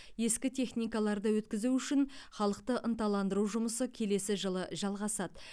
ескі техникаларды өткізу үшін халықты ынталандыру жұмысы келесі жылы жалғасады